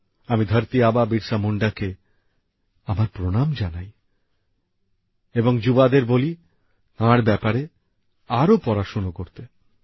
আমি ধরতি আবা বিরসা মুন্ডা কে আমার প্রণাম জানাই এবং যুবসম্প্রদায়কে বলি তাঁর ব্যাপারে আরও পড়াশোনা করতে